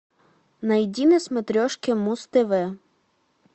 найди на смотрешке муз тв